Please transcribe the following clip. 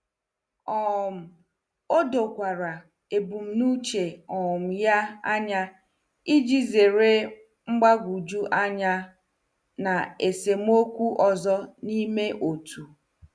um O dokwara ebumnuche um ya anya iji zere mgbagwoju anya na esemokwu ọzọ n'ime otu.